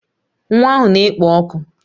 Nwa ahụ na-ekpo ọkụ